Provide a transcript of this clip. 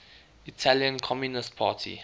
italian communist party